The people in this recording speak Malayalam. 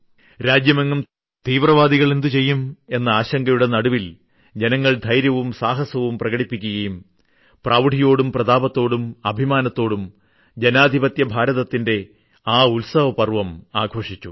രാജ്യമെങ്ങും തീവ്രവാദികൾ എന്തുചെയ്യും എന്ന ആശങ്കയുടെ നടുവിൽ ജനങ്ങൾ ധൈര്യവും സാഹസവും പ്രകടിപ്പിക്കുകയും പ്രൌഢിയോടും പ്രതാപത്തോടും അഭിമാനത്തോടും ജനാധിപത്യഭാരതത്തിന്റെ ആ ഉത്സവ പർവ്വം ആഘോഷിച്ചു